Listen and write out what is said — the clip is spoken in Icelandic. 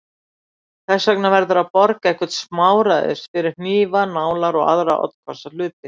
Þess vegna verður að borga eitthvert smáræði fyrir hnífa, nálar og aðra oddhvassa hluti.